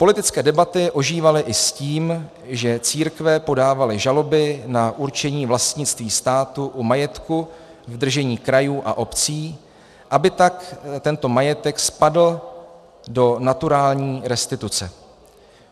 - Politické debaty ožívaly i s tím, že církve podávaly žaloby na určení vlastnictví státu u majetku v držení krajů a obcí, aby tak tento majetek spadl do naturální restituce.